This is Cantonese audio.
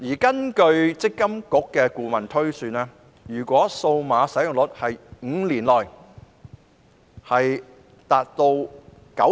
根據積金局的顧問推算，如果數碼使用率能在5年內達到九成......